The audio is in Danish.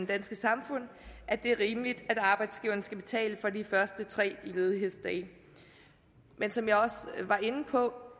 danske samfund at det er rimeligt at arbejdsgiverne skal betale for de tre ledighedsdage men som jeg også var inde på